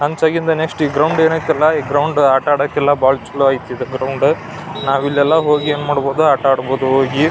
ಹಂಚಿ ಆಗಿಂದ ನೆಕ್ಸ್ಟ್ ಏನ ಗ್ರೌಂಡ್ ಎನ್ ಐತಲಾ ಅದಕ್ಕೆಲ್ಲ ಬಾಳ್ ಚುಲೊ ಐತಿ ಈ ಗ್ರೌಂಡ್ ನಾವೆಲ್ಲ